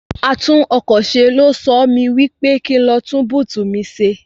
Atúnọkọ̀ṣe ló sọ mí wí pé kí n lọ tún búùtù mi ṣe.